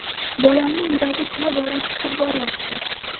Bolamni yuragi tobora shishib boryapti.